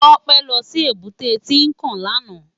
Tope lò si ébùté Tinkán làná